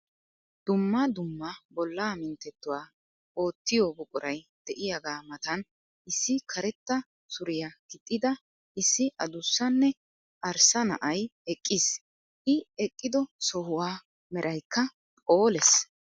Dumma dumma bollaa minttettuwa oottiyo buquray de'iyagaa matan issi karetta suriya gixxida issi adussanne arssa na'ay eqqiis. I eqqido sohuwa meraykka phoolees.